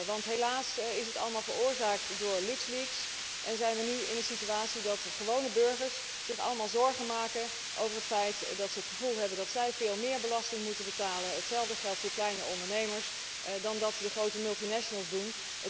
Want helaas is het allemaal veroorzaakt door LuxLeaks en zijn wij nu in een situatie dat gewone burgers zich allemaal zorgen maken over het feit dat zij het gevoel hebben dat zij veel meer belasting moeten betalen hetzelfde geldt voor kleine ondernemers dan dat de grote multinationals doen.